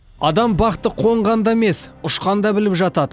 адам бақты қонғанда емес ұшқанда біліп жатады